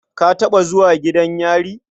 Ka taɓa zuwa gidan yari?